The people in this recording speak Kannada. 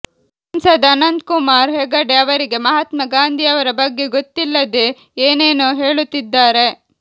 ಸಂಸದ ಅನಂತ್ಕುಮಾರ್ ಹೆಗಡೆ ಅವರಿಗೆ ಮಹಾತ್ಮ ಗಾಂಧಿಯವರ ಬಗ್ಗೆ ಗೊತ್ತಿಲ್ಲದೇ ಏನೇನೋ ಹೇಳುತ್ತಿದ್ದಾರೆ